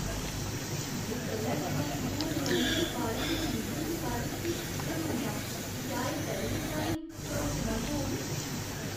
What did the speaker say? में कल्लै थमां शुरू होने आह्‌ली अखबारें दी डलीवरी दे बारे च किश फिकरमंद आं। क्या एह् पैह्लें साहीं भरोसेमंद होग?